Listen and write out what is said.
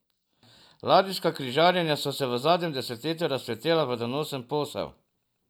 Ladijska križarjenja so se v zadnjem desetletju razcvetela v donosen posel.